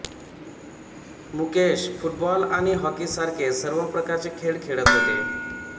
Mukesh football आणि hockey सारखे सर्व प्रकारचे खेळ खेळत होते